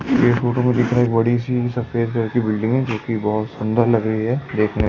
ये फोटो में दिख रहा है एक बड़ी सी सफेद कलर की बिल्डिंग है जो कि बहुत सुंदर लग रही है देखने --